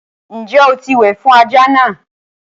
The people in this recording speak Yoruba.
Ǹjẹ́ o ti wẹ̀ fún ajá náà?